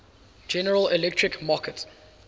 general electric markets